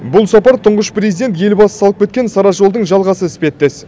бұл сапар тұңғыш президент елбасы салып кеткен сара жолдың жалғасы іспеттес